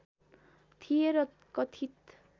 थिए र कथित